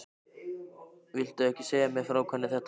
Viltu ekki segja mér frá hvernig þetta bar til?